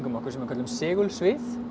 okkur sem við köllum segulsvið